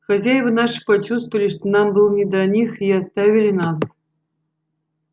хозяева наши почувствовали что нам было не до них и оставили нас